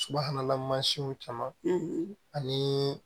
Subahana mansinw caman ani